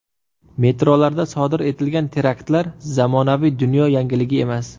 Metrolarda sodir etilgan teraktlar zamonaviy dunyo yangiligi emas.